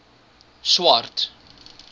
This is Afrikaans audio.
swart